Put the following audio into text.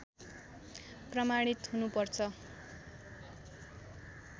प्रमाणित हुनु पर्छ